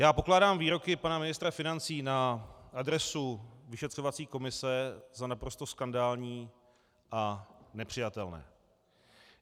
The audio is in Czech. Já pokládám výroky pana ministra financí na adresu vyšetřovací komise za naprosto skandální a nepřijatelné.